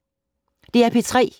DR P3